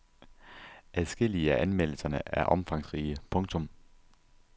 Adskillige af anmeldelserne er omfangsrige. punktum